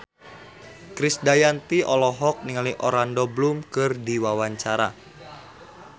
Krisdayanti olohok ningali Orlando Bloom keur diwawancara